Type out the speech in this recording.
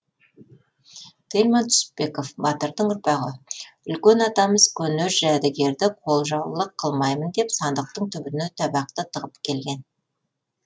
тельман түсіпбеков батырдың ұрпағы үлкен атамыз көне жәдігерді қолжаулық қылмаймын деп сандықтың түбіне табақты тығып келген